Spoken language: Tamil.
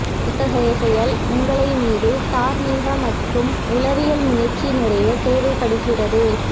இத்தகைய செயல் உங்களை மீது தார்மீக மற்றும் உளவியல் முயற்சி நிறைய தேவைப்படுகிறது